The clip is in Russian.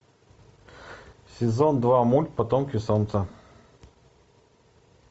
сезон два мульт потомки солнца